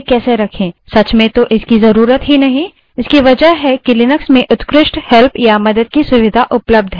सच में आपको इसकी ज़रूरत नहीं क्योंकि लिनक्स में उत्कृष्ट online help या मदद की सुविधा उपलब्ध है